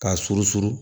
K'a surusuru